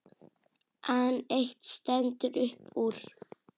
En eitt stendur upp úr.